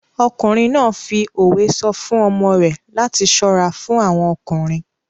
Ọkùnrin náà fi òwe sọ fún ọmọ rẹ̀ láti ṣọ́ra fún àwọn ọkùnrin.